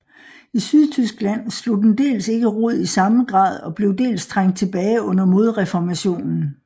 I Sydtyskland slog den dels ikke rod i samme grad og blev dels trængt tilbage under modreformationen